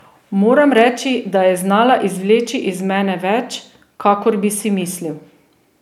Moram reči, da je znala izvleči iz mene več, kakor bi si mislil.